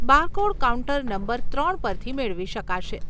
Barcode counter number ત્રણ પરથી મેળવી શકાશે.